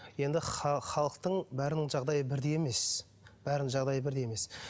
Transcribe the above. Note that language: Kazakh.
енді халықтың бәрінің жағдайы бірдей емес бәрінің жағдайы бірдей емес